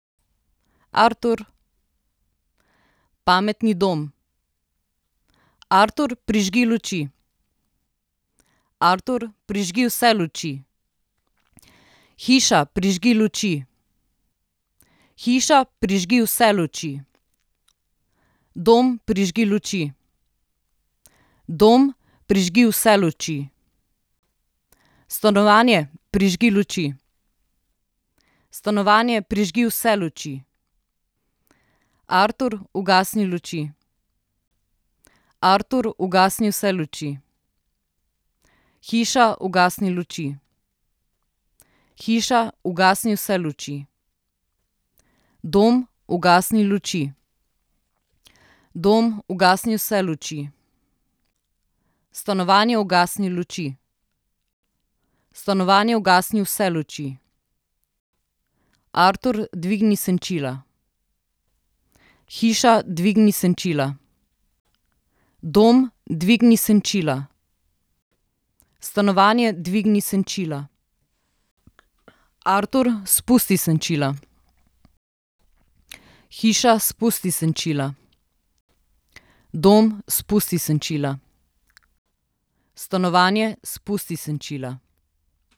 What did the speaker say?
Artur. Pametni dom. Artur, prižgi luči. Artur, prižgi vse luči. Hiša, prižgi luči. Hiša, prižgi vse luči. Dom, prižgi luči. Dom, prižgi vse luči. Stanovanje, prižgi luči. Stanovanje, prižgi vse luči. Artur, ugasni luči. Artur, ugasni vse luči. Hiša, ugasni luči. Hiša, ugasni vse luči. Dom, ugasni luči. Dom, ugasni vse luči. Stanovanje, ugasni luči. Stanovanje, ugasni vse luči. Artur, dvigni senčila. Hiša, dvigni senčila. Dom, dvigni senčila. Stanovanje, dvigni senčila. Artur, spusti senčila. Hiša, spusti senčila. Dom, spusti senčila. Stanovanje, spusti senčila.